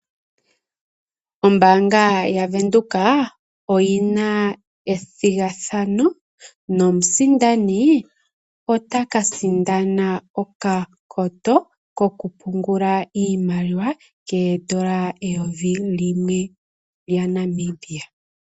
Ombaanga yaVenduka oyi na ethigathano nomusindani otaka sindana okapoto kokupungula iimaliwa koodola eyovi limwe lyaNamibia.